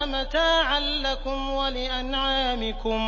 مَتَاعًا لَّكُمْ وَلِأَنْعَامِكُمْ